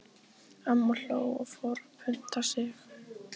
Amma hló og fór að punta sig.